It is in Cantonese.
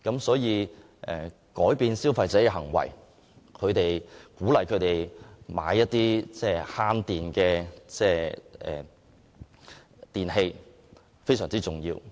所以改變消費者的購物行為，鼓勵他們購買節能的電器非常重要。